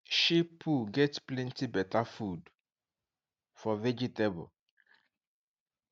sheep poo get plenty better food for vegetable